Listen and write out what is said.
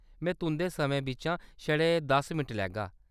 में तुंʼदे समें बिच्चा छड़े दस मिंट लैगा।